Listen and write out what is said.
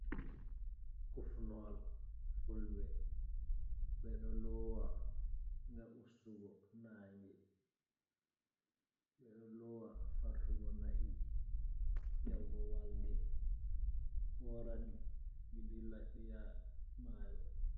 Kufnol fulɓe ɓe ɗo loowa ngam ustugo naange, ɓe ɗo loowa fartugo na'i yahugo walde oora ɗi, ɗi dilla ɗi yaha maayo.